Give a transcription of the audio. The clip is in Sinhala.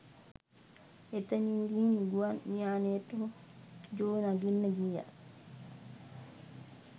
එතනින් ගිහින් ගුවන් යානයට ජෝ නගින්න ගියත්